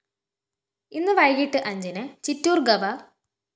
ഇന്ന് വൈകിട്ട് അഞ്ചിന് ചിറ്റൂര്‍ ഗവ